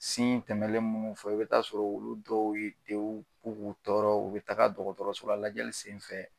tɛmɛnen munnu fɔ, i be taa sɔrɔ olu dɔw ye, denw b'u k'u tɔɔrɔ, u bi taga dɔkɔtɔrɔso la lajɛli senfɛ